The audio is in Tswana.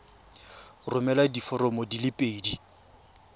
romela diforomo di le pedi